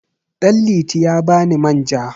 Ɗanliti ya ba ni manja.